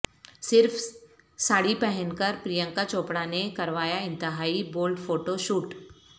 صرف ساڑی پہن کر پرینکا چوپڑا نے کروایا انتہائی بولڈ فوٹو شوٹ